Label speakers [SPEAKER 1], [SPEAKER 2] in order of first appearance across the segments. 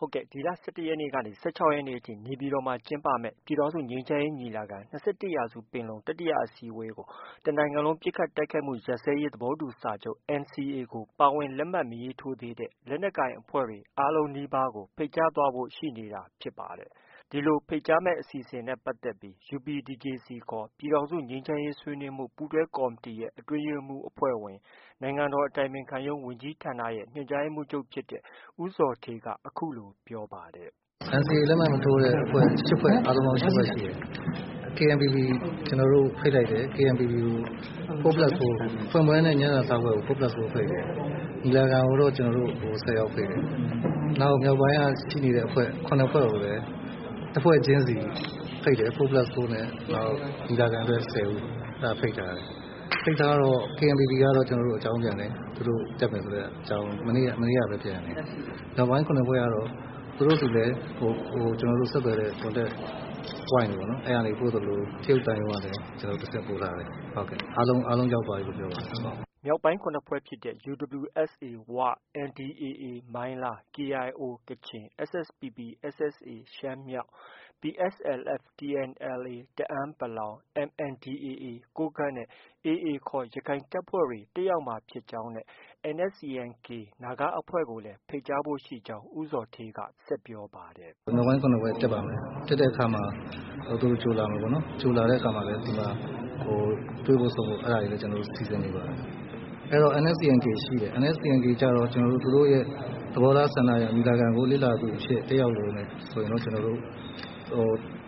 [SPEAKER 1] ဟုတ်ကဲ့။ ဒီလ ၁၁ရက်ကနေ ၁၆ရက်နေ့အထိ နေပြည်တော်မှာ ကျင်းပမယ့် ပြည်ထောင်စုငြိမ်းချမ်းရေးညီလာခံ - ၂၁ရာစုပင်လုံတတိယအစည်းအဝေးကို တနိုင်ငံလုံးပစ်ခတ်တိုက်ခိုက်မှုရပ်စဲရေးသဘောတူစာချုပ် NCA ကို ပါဝင် လက်မှတ်မရေးထိုးသေးတဲ့ လက်နက်ကိုင်အဖွဲ့တွေ အားလုံးနီးပါးကို ဖိတ်ကြားသွားဖို့ ရှိနေတာ ဖြစ်ပါတယ်။ ဒီလို ဖိတ်ကြားမယ့် အစီအစဉ်နဲ့ပတ်သက်ပြီး UPDJC ခေါ် ပြည်ထောင်စု ငြိမ်းချမ်းရေးဆွေးနွေးမှု ပူးတွဲကော်မတီရဲ့ အတွင်းရေးမှုးအဖွဲ့ဝင်- နိုင်ငံတော်အတိုင်ပင်ခံရုံးဝန်ကြီးဌာနရဲ့ ညွှန်ကြားရေးမှုးချုပ်ဖြစ်တဲ့ ဦးဇော်ဌေးက အခုလို ပြောပါတယ်
[SPEAKER 2] ။ “ NCA လက်မှတ် မထိုးတဲ့အဖွဲ့ ၈ဖွဲ့ အားလုံးပေါင်း ၈ဖွဲ့ရှိတယ်။ KNPP ကို ကျနော်တို့ ဖိတ်လိုက်တယ်။ 4 plus 4 ဖွင့်ပွဲနဲ့ ညစာစားပွဲကို 4 plus 4 ဖိတ်တယ်။ ညီလာခံကိုတော့ ၁၀ယောက်ဖိတ်တယ်။ နောက် မြောက်ပိုင်းက ရှိနေတဲ့အဖွဲ့ ၇ဖွဲ့ကို တစ်ဖွဲ့ချင်းစီဖိတ်တယ်။ 4 plus 4 နဲ့ ညီလာခံအတွက် ၁၀ဦး အဲဒါဖိတ်ထားတယ်။ ဖိတ်ထား တော့ KNPP ကတော့ ကျနော်တို့ အကြောင်းပြန်တယ်။ သူတို့ တက်မယ်ဆိုတဲ့အကြောင်း မနေ့ကပဲ ပြန်တယ်။ မြောက်ပိုင်း ၇ဖွဲ့ကတော့ သူတို့ဆီလည်း ဆက်သွယ်တဲ့ ကျနော်တို့ ဆက်သွယ်တဲ့ contact point တွေက ကျနော်တို့ ပို့သလို၊ တရုတ်သံရုံးကလည်း တဆင့်ပို့ထားတယ်။ အားလုံးရောက်သွားပြီလို့ ပြောပါတယ်။ ”
[SPEAKER 1] မြောက်ပိုင်း၇ဖွဲ့ဖြစ်တဲ့ UWSA ဝ၊ NDAA မိုင်းလား၊ KIOကချင်၊ SSPP/SSA ရှမ်းမြောက်၊ PSLF/TNLA တအာင်း-ပလောင်၊ MNDAA ကိုးကန့်နဲ့AA ခေါ် ရခိုင်တပ်ဖွဲ့တွေ တက်ရောက်မှာဖြစ်ကြောင်းနဲ့ NSCN-K နာဂအဖွဲ့ကိုလည်း ဖိတ်ကြားဖို့ ရှိကြောင်း ဦးဇော်ဌေးက ဆက်ပြောပါတယ်။
[SPEAKER 2] “ မြောက်ပိုင်း ၇ဖွဲ့တက်ပါမယ်။ တက်တဲ့အခါမှာ သူတို့ ကြိုလာမယ်ပေါ့နော်။ ကြိုလာတဲ့အခါမှာလည်း တွေ့ဖို့ ဆုံဖို့ အဲဒါတွေလည်း ကျနော်တို့ စီစဉ်နေပါတယ်။ အဲတော့ NSCN- K ရှိတယ်။ NSCN-K ကျတော့ ကျနော်တို့ သူတို့ရဲ့ သဘောထားဆန္ဒအရ ညီလာခံကို လေ့လာသူအဖြစ် တက်ရောက်လိုတယ်ဆိုရင်တော့ ကျနော်တို့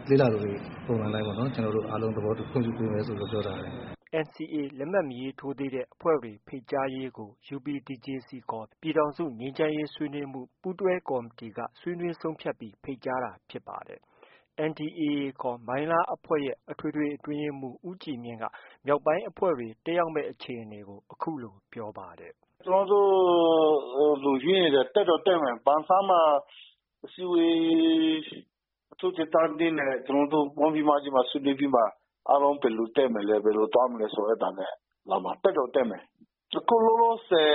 [SPEAKER 2] လေ့လာသူတွေ ပုံစံအတိုင်းပေါ့ ကျနော်တို့အားလုံး သဘောတူခွင့်ပြုပေးမယ်လို့ ပြောထားတယ်။
[SPEAKER 1] ” NCA လက်မှတ် မထိုးတဲ့အဖွဲ့တွေ ဖိတ်ကြားရေးကို UPDJC ခေါ် ပြည်ထောင်စု ငြိမ်းချမ်းရေးဆွေးနွေးမှု ပူးတွဲကော်မတီအတွင်းမှာ ဆွေးနွေးဆုံးဖြတ်ပြီး ဖိတ်ကြားတာဖြစ်ပါတယ်။ NDAA ခေါ် မိုင်းလားအဖွဲ့ရဲ့ အထွေထွေအတွင်းရေးမှုး ဦးကြည်မြင့်က မြောက်ပိုင်းအဖွဲ့တွေ တက်ရောက်မယ့် အခြေအနေကို အခုလို ပြောကြားပါတယ်။
[SPEAKER 3] “ ကျနော်တို့ လူရွေးနေတယ်။ တက်တော့တက်မယ်။ ပန်ဆန်းမှာ အစည်းအဝေး အထူးဒေသ၂နဲ့ ကျနော်တို့ ပေါင်းပြီးမှ ဒီမှာ ဆွေးနွေးပြီးမှ အားလုံးဘယ်လိုတက်မလဲ၊ ဘယ်လို သွားမလဲဆိုတာ အဲဒါနဲ့ လာမှာ။ တက်တော့ တက်မယ်။ အခုလောလောဆည်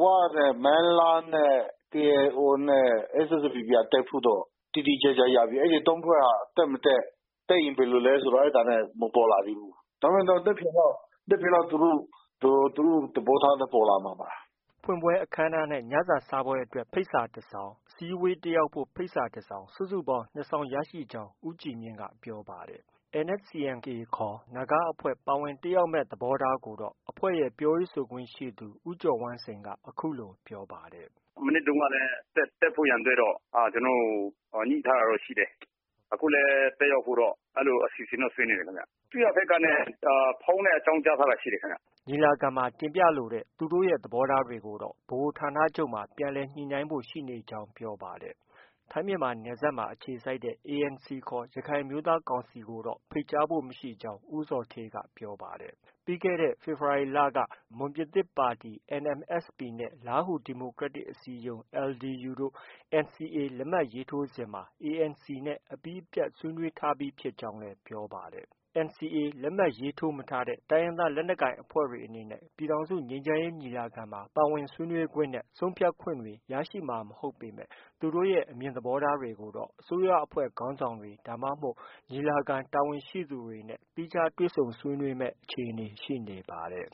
[SPEAKER 3] ဝနဲ့ မိုင်းလားနဲ့ KIO နဲ့ SSPP က တက်ဖို့တော့ တိတိကျကျရပြီ အဲဒီ ၃ဖွဲ့က တက်မတက်၊ တက်ရင်ဘယ်လိုလဲဆိုတာ အဲဒါနဲ့ မပေါ်လာသေးဘူး။ ဒါပေမဲ့ မနက်ဖန်လောက် သူတို့ သဘောထားပေါ်လာမှာပါ။
[SPEAKER 1] ” ဖွင့်ပွဲအခမ်းအနားနဲ့ ညစာစားပွဲအတွက် ဖိတ်စာတစ်စောင်၊ အစည်းအဝေးတက်ရောက်ဖို့ ဖိတ်စာတစ်စောင် စုစုပေါင်း၂စောင်ရရှိကြောင်းပြောပါတယ်။ NSCN-K ခေါ် နာဂအဖွဲ့ပါဝင်တက်ရောက်မယ့်သဘောထားကိုတော့ အဖွဲ့ရဲ့ ပြောရေးဆိုခွင့်ရှိသူ ဦးကျော်ဝမ်းစိန်က အခုလို ပြောပါတယ်။ “ မနှစ်တည်းက တက်ဖို့ရ
[SPEAKER 3] ာအတွက်တော့ ညှိထားတာတော့ ရှိတယ်။ အခုလည်း တက်ရောက်ဖို့တော့ အစီအစဉ်တော့ ဆွဲနေတယ်ခင်ဗျ။ အစိုးရဘက်က ဖုန်းနဲ့ အကြောင်းကြားထားတာ ရှိတယ်ခင်ဗျ။
[SPEAKER 1] ” ညီလာခံမှာ တင်ပြလိုတဲ့ သူတို့ သဘောထားတွေကိုတော့ ဗဟိုဌာချုပ်မှာ ပြန်လည်ညှိနှိုင်းဖို့ ရှိနေကြောင်း ပြောပါတယ်။ ထိုင်းမြန်မာနယ်စပ်မှာ အခြေစိုက်တဲ့ ANCခေါ် ရခိုင်အမျိုးသားကောင်စီကိုတော့ ဖိတ်ကြားဖို့ မရှိကြောင်း ဦးဇော်ဌေးက ပြောပါတယ်။ ပြီးခဲ့တဲ့ ဖေဖော်ဝါရီလက မွန်ပြည်သစ်ပါတီ NMSP နဲ့ လားဟူ ဒီမိုကရက်တစ်အစည်းအရုံး LDU တို့ NCA လက်မှတ်ရေးထိုးစဉ်မှာ ANC နဲ့ အပြီးအပြတ် ဆွေးနွေးထားပြီးဖြစ်ကြောင်းလည်း ပြောပါတယ်။ NCA လက်မှတ်ရေးထိုးမထားတဲ့ တိုင်းရင်းသားလက်နက်ကိုင်အဖွဲ့တွေအနေနဲ့ ပြည်ထောင်စုငြိမ်းချမ်းရေးညီလာခံမှာ ပါဝင်ဆွေးနွေးခွင့်နဲ့ ဆုံးဖြတ်ခွင့်တွေ ရရှိမှာ မဟုတ်ပေမဲ့ သူတို့ရဲ့ အမြင်သဘောထားတွေကိုတော့ အစိုးရအဖွဲ့ ခေါင်းဆောင်တွေ ဒါမှမဟုတ် ညီလာခံတာဝန်ရှိသူတွေနဲ့ သီးခြားတွေ့ဆုံဆွေးနွေးမယ့် အခြေအနေ ရှိနေပါတယ်